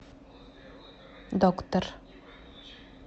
доктор